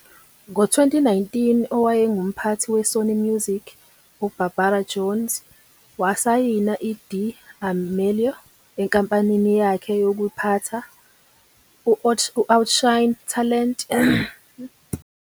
Ngo-2019, owayengumphathi we-Sony Music uBarbara Jones wasayina i-D'Amelio enkampanini yakhe yokuphatha, u-Outshine Talent, kwathi ngoJanuwari 2020, uD'Amelio wasayina ne-ejensi yethalente i-UTA.